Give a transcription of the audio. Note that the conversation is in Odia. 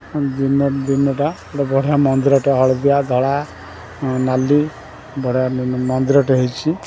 ଦିନ ଦିନ ଟା ବଢିଆ ମନ୍ଦିରଟା ହଳଦିଆ ଧଳା ନାଲି ବଢିଆ ମନ୍ଦିରଟେ ହେଇଛି ।